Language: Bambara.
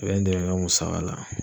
i bɛ n dɛmɛn n ka musaka la.